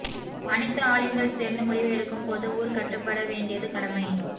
அனைத்து ஆலிம்கள் சேர்ந்து முடிவு எடுக்கும் போது ஊர் கட்டுப் பட வேண்டியது கடமை